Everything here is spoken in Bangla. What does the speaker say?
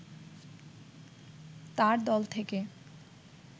তার দল থেকে